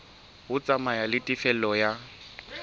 ho tsamaya le tefello ya